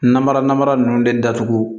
Namara namara ninnu de datugu